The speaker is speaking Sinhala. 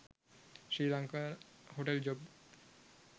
srilanka hotel job